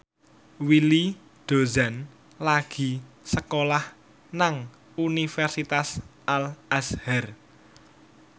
Willy Dozan lagi sekolah nang Universitas Al Azhar